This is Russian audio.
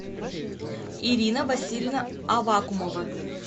ирина васильевна авакумова